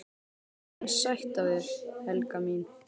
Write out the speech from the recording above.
EN SÆTT AF ÞÉR, HELGA MÍN!